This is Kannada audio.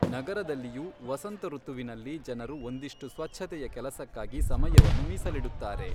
ನಗರದಲ್ಲಿಯೂ, ವಸಂತ ಋತುವಿನಲ್ಲಿ ಜನರು ಒಂದಿಷ್ಟು ಸ್ವಚ್ಛತೆಯ ಕೆಲಸಕ್ಕಾಗಿ ಸಮಯವನ್ನು ಮೀಸಲಿಡುತ್ತಾರೆ.